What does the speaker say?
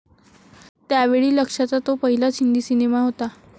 त्यावेळी लक्ष्याचा तो पहिलाच हिंदी सिनेमा होता.